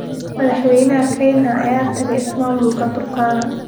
Madaxweynaha Kenya ayaa tagay ismaamulka Turkana